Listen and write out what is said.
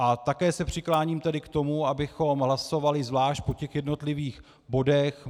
A také se přikláním tedy k tomu, abychom hlasovali zvlášť po těch jednotlivých bodech.